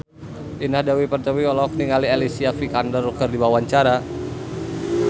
Indah Dewi Pertiwi olohok ningali Alicia Vikander keur diwawancara